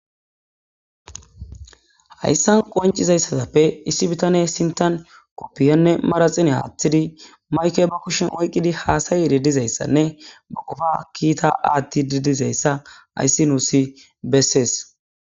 Hayissanni qoniccizayissappe issi bitaneyi sintanni koppiyanne manaxxira woththidi mayikke bee kushshenni oyikkidi haasayidi dizayissanne baa qoppa kita aththidi dizayissa ,hayissi nussi besses.